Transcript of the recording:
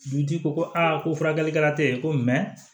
Dugutigi ko ko a ko furakɛlikɛla tɛ yen ko mɛ